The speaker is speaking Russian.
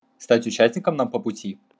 стать участником нам по пути